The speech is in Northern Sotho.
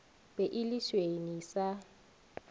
be e le senwi sa